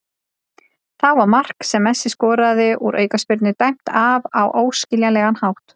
Þá var mark sem Messi skoraði úr aukaspyrnu dæmt af á óskiljanlegan hátt.